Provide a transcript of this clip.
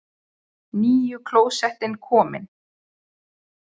NÝJU KLÓSETTIN KOMIN!